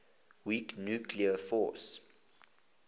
weak nuclear force